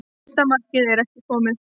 Fyrsta markmið er ekki komið